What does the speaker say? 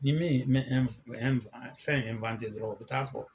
Ni ne ye mɛ ɛn ɛn fɛn ɛnwante dɔrɔn u be taa fɔ